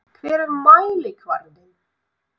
Hver er mælikvarðinn?